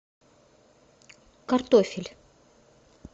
картофель